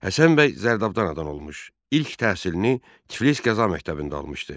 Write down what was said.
Həsən bəy Zərdabdan anadan olmuş, ilk təhsilini Tiflis Qəza Məktəbində almışdı.